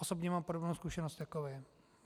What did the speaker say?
Osobě mám podobnou zkušenost jako vy.